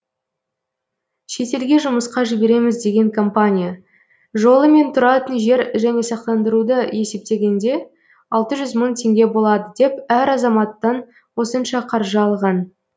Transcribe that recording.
шетелге жұмысқа жібереміз деген компания жолы мен тұратын жер және сақтандыруды есептегенде алты жүз мың теңге болады деп әр азаматтан осынша қаржы алған